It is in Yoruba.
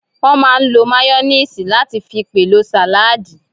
Wọ́n máà ń lo máyóníìsì láti fi pèlò sàládì